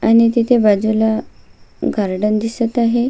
आणि तिथे बाजूला गार्डन दिसत आहे.